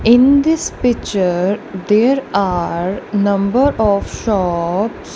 in this picture there are number of shops.